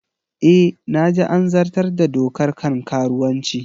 E, na ji an zartar da dokar kan karuwanci